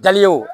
Daliw